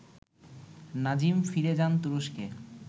নাজিম ফিরে যান তুরস্কে